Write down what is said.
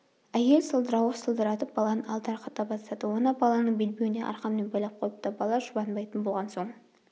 әйел сылдырауық сылдыратып баланы алдарқата бастады оны баланың белбеуіне арқанмен байлап қойыпты бала жұбанбайтын болған соң